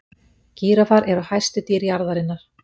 gíraffar eru hæstu dýr jarðarinnar